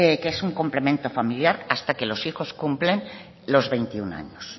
que es un complemento familiar hasta que los hijos cumplen los veintiuno años